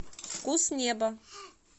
вкус неба